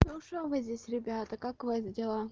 ну что вы здесь ребята как у вас дела